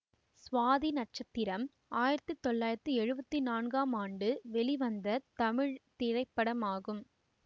சுவாதி நட்சத்திரம் ஆயிரத்தி தொள்ளாயிரத்தி எழுவத்தி நான்காம் ஆண்டு வெளிவந்த தமிழ் திரைப்படமாகும்